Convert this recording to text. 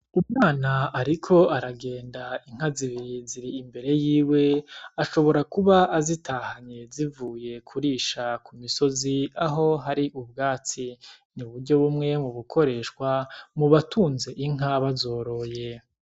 Umwana ariko aragenda inka zibiri ziri imbere yiwe. Ashobora kuba azitahanye, zivuye kurisha ku musozi aho hari ubwatsi, uburyo bumwe mu bukoreshwa mu batunze inka, bazoroye.